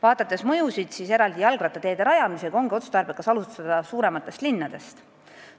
Kui mõjusid vaadata, siis eraldi jalgrattateede rajamisega on otstarbekas alustada suurematest linnadest.